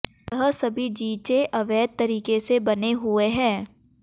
यह सभी जीचें अवैध तरीके से बने हुए हैं